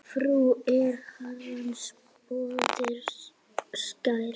Frú er Herrans móðir skær.